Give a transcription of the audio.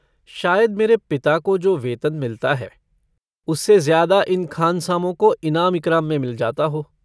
शायद मेरे पिता को जो वेतन मिलता है उससे ज्यादा इन खानसामों को इनाम-इकराम में मिल जाता हो।